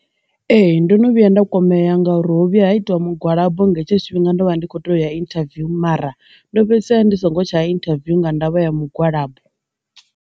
Ee, ndo no vhuya nda kwamea nga uri ho vhuya ha itiwa mugwalabo nga hetsho tshifhinga ndo vha ndi kho to ya interview mara ndo fhedzisela ndi songo tsha inthaviwu nga ndavha ya mugwalabo.